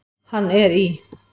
Hann er í